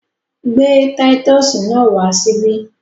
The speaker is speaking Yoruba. Gbé títọ́sì náà wá síbí!